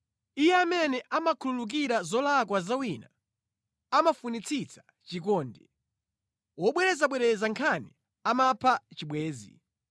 Iye amene amakhululukira zolakwa za wina, amafunitsitsa chikondi; wobwerezabwereza nkhani amapha chibwenzi.